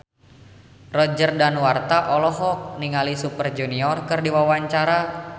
Roger Danuarta olohok ningali Super Junior keur diwawancara